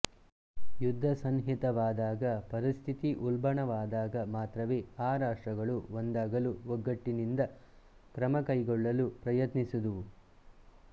ಯುದ್ಧ ಸನ್ನಿಹಿತವಾದಾಗ ಪರಿಸ್ಥಿತಿ ಉಲ್ಬಣವಾದಾಗ ಮಾತ್ರವೇ ಆ ರಾಷ್ಟ್ರಗಳು ಒಂದಾಗಲು ಒಗ್ಗಟ್ಟಿನಿಂದ ಕ್ರಮ ಕೈಗೊಳ್ಳಲು ಪ್ರಯತ್ನಿಸಿದುವು